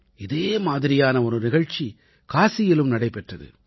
இதே மாதிரியான ஒரு நிகழ்ச்சி காசியிலும் நடைபெற்றது